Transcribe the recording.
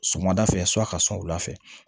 Sɔgɔmada fɛ su ka sɔn wula fɛ